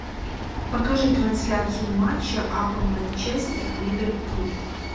покажи трансляцию матча апл манчестер ливерпуль